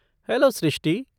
Hello Srishti!